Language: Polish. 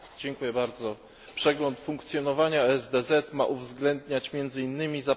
Przegląd funkcjonowania ESDZ ma uwzględniać między innymi zapewnienie tzw.